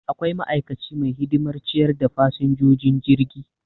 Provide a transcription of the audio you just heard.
Akwai ma'aikaci mai hidimar ciyar da fasinjojin jirgi